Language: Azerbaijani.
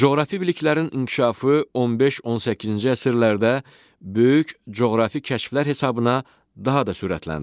Coğrafi biliklərin inkişafı 15-18-ci əsrlərdə böyük coğrafi kəşflər hesabına daha da sürətləndi.